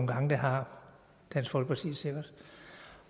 gange det har dansk folkeparti sikkert